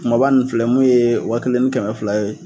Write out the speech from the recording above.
Kumaba nun filɛ mun ye wa kelen ni kɛmɛ fila ye.